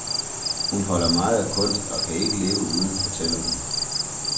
Hun holder meget af kunst, og kan ikke leve uden, fortæller hun.